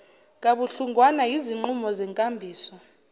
kabuhlungwana yizinqumo zenkambiso